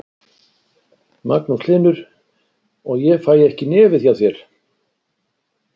Magnús Hlynur: Og fæ ég ekki í nefið hjá þér?